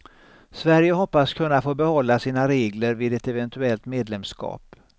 Sverige hoppas kunna få behålla sina regler vid ett eventuellt medlemskap.